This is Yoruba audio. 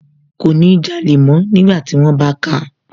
Kò ní jalè mọ́ nígbàtí wón bá káa